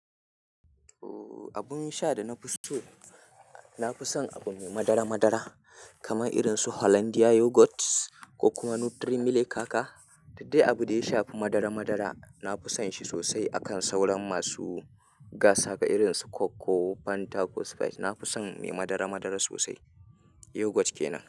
Ooo abun sha da na fi so, na fi son abu me madara madara kamar irin su Hollandia Yogurt ko kuma Nutri Milik haka. Duk dai abu da ya shafi madara madara, na fi son shi sosai akan sauran masu gasa irin su Coke ko Fanta ko Sprite. Na fi son mai madara madara sosai. Yogurt kenan.